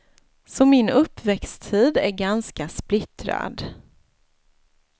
Så min uppväxttid är ganska splittrad.